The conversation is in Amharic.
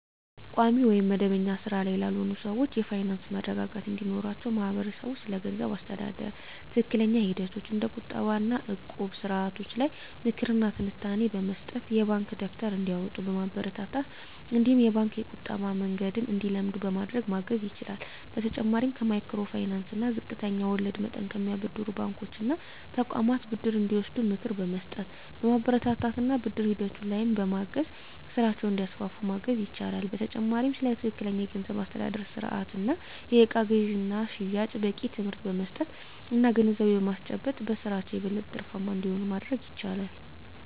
ቋሚ ወይም መደበኛ ሥራ ላይ ላልሆኑ ሰዎች የፋይናንስ መረጋጋት እንዲኖራቸው ማህበረሰቡ ስለገንዘብ አስተዳደር ትክክለኛ ሂደቶች እንደ ቁጠባ እና እቁብ ስርዓቶች ላይ ምክር እና ትንታኔ በመስጠት፣ የባንክ ደብተር እንዲያወጡ በማበረታታት እነዲሁም የባንክ የቁጠባ መንገድን እንዲለምዱ በማድረግ ማገዝ ይችላል። በተጨማሪም ከማይክሮ ፋይናንስ እና ዝቅተኛ ወለድ መጠን ከሚያበድሩ ባንኮች እና ተቋማት ብድር እንዲወስዱ ምክር በመስጠት፣ በማበረታታት እና ብድር ሂደቱ ላይም በማገዝ ስራቸውን እንዲያስፋፉ ማገዝ ይቻላል። በተጨማሪም ስለ ትክክለኛ የገንዘብ አስተዳደር ስርአት እና የእቃ ግዥና ሽያጭ በቂ ትምህርት በመስጠት እና ግንዛቤ በማስጨበጥ በስራቸው የበለጠ ትርፋማ እንዲሆኑ ማድረግ ይቻላል።